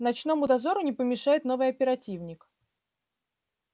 ночному дозору не помешает новый оперативник